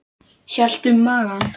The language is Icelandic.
Hélt um magann.